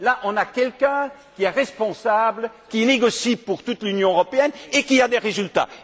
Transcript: Là, on a quelqu'un qui est responsable, qui négocie pour toute l'Union européenne, et qui obtient des résultats.